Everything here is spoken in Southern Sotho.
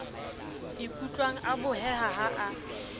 ikutlwang a boheha ha a